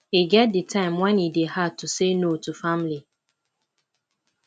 e get di time wen e dey hard to say no to family